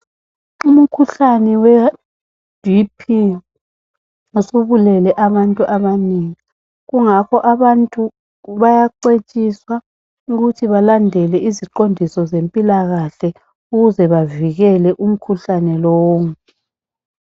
Umkhuhlane we BP, usubulele abantu abanengi. Kungakho abantu bayacetshiswa ukuthi balandele iziqondiso zempilakahle ukuze bavikele umkhuhlane lowo.